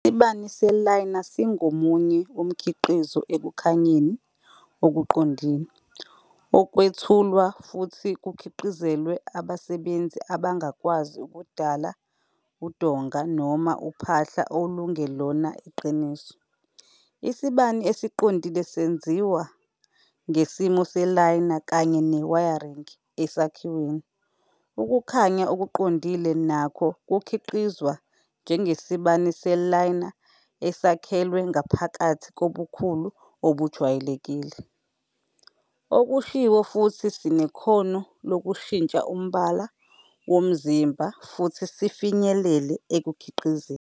Isibani se-Liner singomunye umkhiqizo Ekukhanyeni Okuqondile, okwethulwa futhi kukhiqizelwe abasebenzisi abangakwazi ukudala udonga noma uphahla olungelona iqiniso, isibani esiqondile senziwa ngesimo se-liner kanye ne-wiring esakhiweni, Ukukhanya Okuqondile nakho kukhiqizwa, njengesibani se-liner esakhelwe ngaphakathi ngobukhulu obujwayelekile, okushiwo futhi sinekhono lokushintsha umbala womzimba futhi sifinyelele ekukhiqizeni.